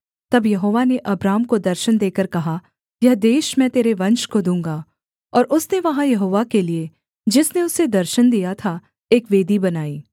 तब यहोवा ने अब्राम को दर्शन देकर कहा यह देश मैं तेरे वंश को दूँगा और उसने वहाँ यहोवा के लिये जिसने उसे दर्शन दिया था एक वेदी बनाई